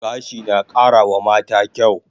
Gashi na kara wa mata kyaw